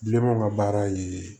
Bilenmanw ka baara ye